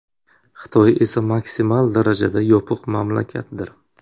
Xitoy esa maksimal darajada yopiq mamlakatdir.